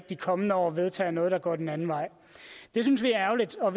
de kommende år vedtager noget der går den anden vej det synes vi er ærgerligt og